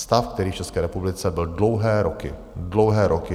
Stav, který v České republice byl dlouhé roky - dlouhé roky!